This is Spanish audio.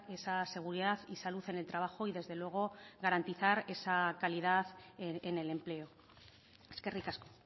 esa seguridad y salud en el trabajo y desde luego garantizar esa calidad en el empleo eskerrik asko